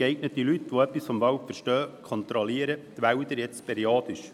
Geeignete Leute, die etwas vom Wald verstehen, kontrollieren die Wälder jetzt periodisch.